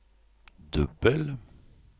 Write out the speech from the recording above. dubbel